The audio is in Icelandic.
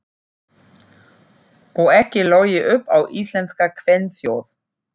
Og ekki logið upp á íslenska kvenþjóð.